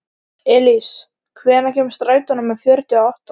Elís, hvenær kemur strætó númer fjörutíu og átta?